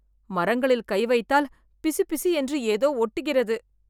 மரங்களில் கை வைத்தால் பிசுபிசு என்று ஏதோ ஒட்டுகிறது